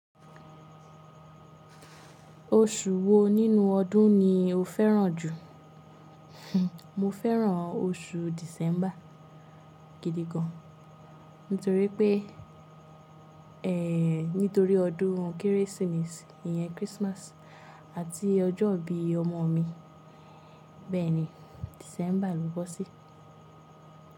Oṣù wo nínú ọdún ni o fẹ́ràn jù? Mo fẹ́ràn oṣù December gidi gan. Nítorí pé, nítorí ọdún Kérésìmesì, ìyẹn Christmas àti ọjọ́ ìbí ọmọ mi. Bẹ́ẹ̀ ni December ló bo sí.